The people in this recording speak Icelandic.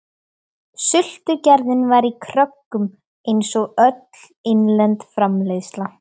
Sultugerðin var í kröggum einsog öll innlend framleiðsla.